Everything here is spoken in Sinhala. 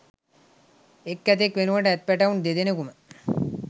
එක් ඇතෙක් වෙනුවට ඇත් පැටවුන් දෙදෙනෙකුම